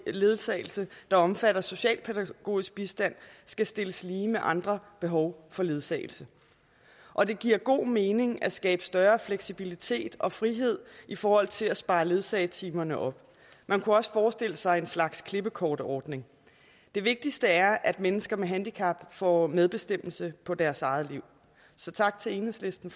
ledsagelse der omfatter socialpædagogisk bistand skal stilles lige med andre behov for ledsagelse og det giver god mening at skabe større fleksibilitet og frihed i forhold til at spare ledsagetimerne op man kunne også forestille sig en slags klippekortordning det vigtigste er at mennesker med handicap får medbestemmelse på deres eget liv så tak til enhedslisten